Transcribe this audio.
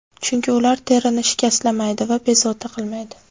Chunki ular terini shikastlamaydi va bezovta qilmaydi.